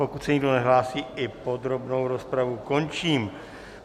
Pokud se nikdo nehlásí, i podrobnou rozpravu končím.